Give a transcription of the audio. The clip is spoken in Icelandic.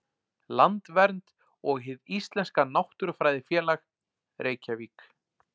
Landvernd og Hið íslenska náttúrufræðifélag, Reykjavík.